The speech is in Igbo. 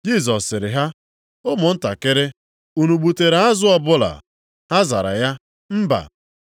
Jisọs sịrị ha, “Ụmụntakịrị, unu gbutere azụ ọbụla?” Ha zara ya, “Mba.”